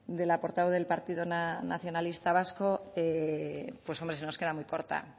de la portavoz del partido nacionalista vasco pues hombre se nos queda muy corta